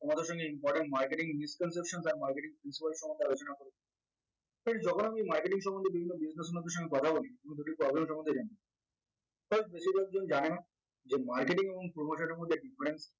তোমাদের সঙ্গে important marketing misconception টা marketing principle সম্বন্ধে আলোচনা করবো friends যখন আমি marketing সম্বন্ধে বিভিন্ন business location এ কথা বলি problem সম্বন্ধে জানি জানে না যে marketing এবং promotion এর মধ্যে একটি difference